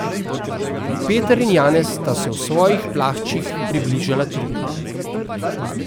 Peter in Janez sta se v svojih plaščih približala truplu.